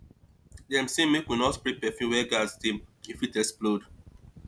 dem sey make we no spray perfume where gas dey e fit explode